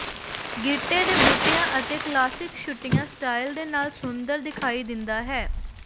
ਗਿੱਟੇ ਦੇ ਬੂਟਿਆਂ ਅਤੇ ਕਲਾਸਿਕ ਛੋਟੀਆਂ ਸਟਾਈਲ ਦੇ ਨਾਲ ਸੁੰਦਰ ਦਿਖਾਈ ਦਿੰਦਾ ਹੈ